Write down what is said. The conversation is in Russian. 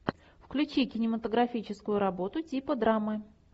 включи кинематографическую работу типа драмы